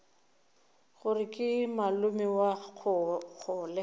gore ke malome wa kgole